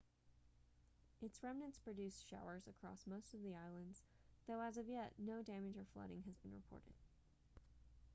its remnants produced showers across most of the islands though as of yet no damage or flooding has been reported